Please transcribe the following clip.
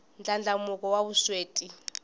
ndlandlamuko wa vusweti